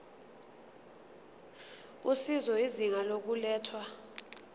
usizo izinga lokulethwa